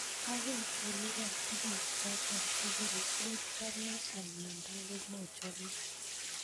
akoi olipan tuguk choto tugul ochome ndakamochome